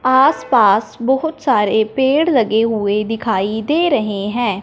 आसपास बहोत सारे पेड़ लगे हुएं दिखाई दे रहें हैं।